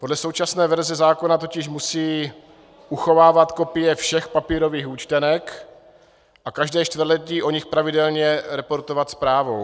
Podle současné verze zákona totiž musí uchovávat kopie všech papírových účtenek a každé čtvrtletí o nich pravidelně reportovat zprávou.